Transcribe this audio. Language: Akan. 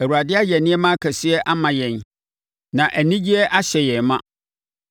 Awurade ayɛ nneɛma akɛseɛ ama yɛn na anigyeɛ ahyɛ yɛn ma.